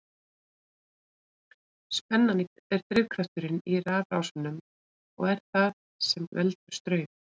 Spennan er drifkrafturinn í rafrásum og er það sem veldur straum.